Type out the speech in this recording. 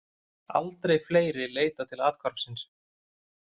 Aldrei fleiri leitað til athvarfsins